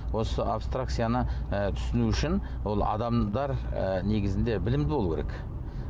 осы абстракцияны ы түсіну үшін ол адамдар ы негізінде білімді болу керек